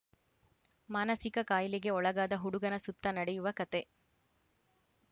ಮಾನಸಿಕ ಕಾಯಿಲೆಗೆ ಒಳಗಾದ ಹುಡುಗನ ಸುತ್ತ ನಡೆಯುವ ಕಥೆ